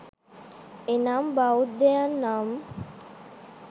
එනම් බෞද්ධයන් නම්